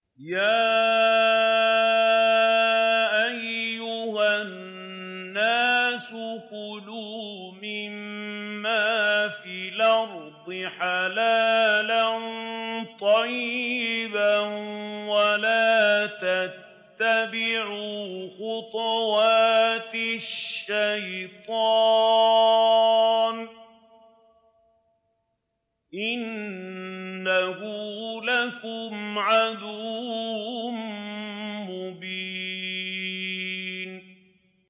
يَا أَيُّهَا النَّاسُ كُلُوا مِمَّا فِي الْأَرْضِ حَلَالًا طَيِّبًا وَلَا تَتَّبِعُوا خُطُوَاتِ الشَّيْطَانِ ۚ إِنَّهُ لَكُمْ عَدُوٌّ مُّبِينٌ